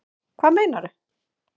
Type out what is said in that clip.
Hvað meinarðu?